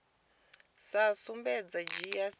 sa sumbedzi u dzhia sia